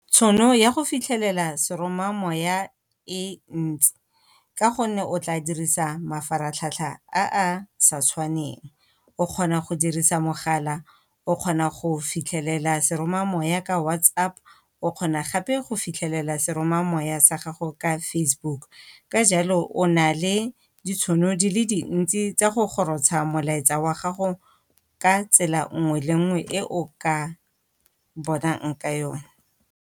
Tšhono ya go fitlhelela seromamoya e ntsi, ka gonne o tla dirisa mafaratlhatlha a a sa tshwaneng. O kgona go dirisa mogala o kgona go fitlhelela seromamoya ka WhatsApp o kgona gape go fitlhelela seromamoya sa gago ka Facebook. Ka jalo o na le ditšhono di le dintsi tsa go gorotsha molaetsa wa gago ka tsela nngwe le nngwe e o ka bonang ka yone.